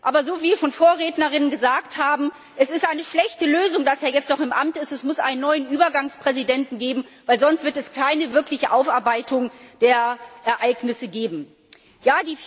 Aber wie schon Vorrednerinnen gesagt haben Es ist eine schlechte Lösung, dass er jetzt noch im Amt ist. Es muss einen neuen Übergangspräsidenten geben, weil es sonst keine wirkliche Aufarbeitung der Ereignisse geben wird.